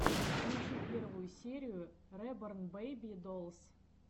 включи первую серию реборн бэйби долс